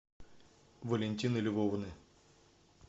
валентины львовны